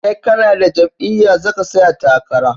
Sai kanada jam'iya zaka tsaya takara